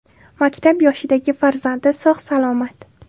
Maktab yoshidagi farzandi sog‘-salomat.